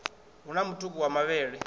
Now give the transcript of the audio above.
hu na mutuku wa mavhele